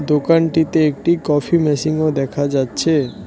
দোকানটিতে একটি কফি মেশিনও দেখা যাচ্ছে।